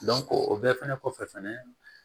o bɛɛ fɛnɛ kɔfɛ fɛnɛ